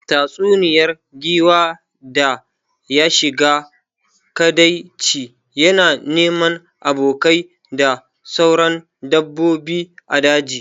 Tatsuniyar giwa da ya shiga kadaici yana neman abokai da sauran dabbobi a daji